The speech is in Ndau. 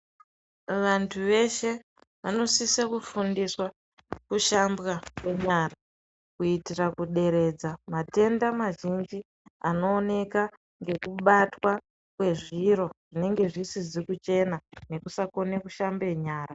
Vantu veshe vanosise kufundiswa kushambwa kwenyara kuitire kuderedza matenda mazhinji anoo eka nekubatwa kwezviro zvinenge zvisizvi kuchena neku sakone shambe nyara